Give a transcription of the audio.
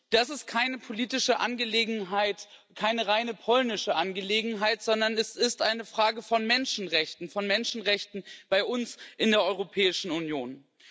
Das ist keine politische Angelegenheit, keine rein polnische Angelegenheit, sondern das ist eine Frage von Menschenrechten, von Menschenrechten bei uns in der Europäischen Union.